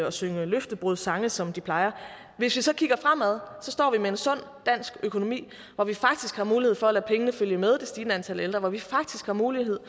og synge løftebrudssange som de plejer hvis vi så kigger fremad står vi med en sund dansk økonomi hvor vi faktisk har mulighed for at lade pengene følge med det stigende antal ældre hvor vi faktisk har mulighed